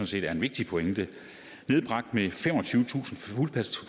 set er en vigtig pointe nedbragt med femogtyvetusind